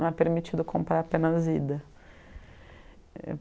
Não é permitido comprar apenas ida.